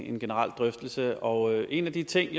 en generel drøftelse og en af de ting